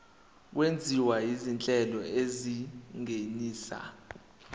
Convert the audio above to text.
okwenziwa izinhlelo ezingenisa